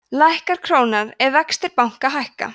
lækkar krónan ef vextir banka hækka